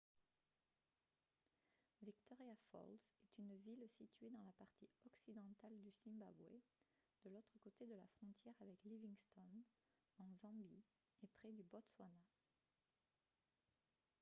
victoria falls est une ville située dans la partie occidentale du zimbabwe de l'autre côté de la frontière avec livingstone en zambie et près du botswana